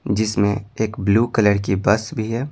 जिसमें एक blue colour की बस भी है।